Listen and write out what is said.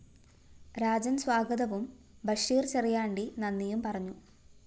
രാജന്‍ സ്വാഗതവും ബഷീര്‍ ചെറിയാണ്ടി നന്ദിയും പറഞ്ഞു